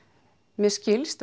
mér skilst og